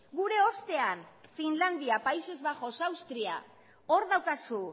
gure ostean finlandia países bajos austria hor daukazu